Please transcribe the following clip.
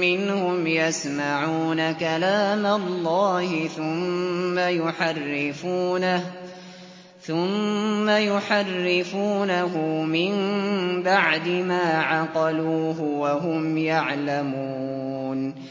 مِّنْهُمْ يَسْمَعُونَ كَلَامَ اللَّهِ ثُمَّ يُحَرِّفُونَهُ مِن بَعْدِ مَا عَقَلُوهُ وَهُمْ يَعْلَمُونَ